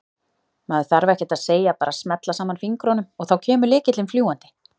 Maður þarf ekkert að segja, bara smella saman fingrunum og þá kemur lykillinn fljúgandi!